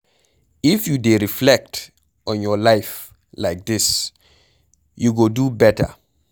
If you dey reflect on your life like dis you go do beta